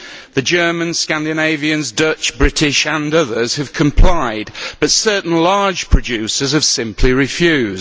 The Germans, Scandinavians, Dutch, British and others have complied, but certain large producers have simply refused.